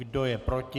Kdo je proti?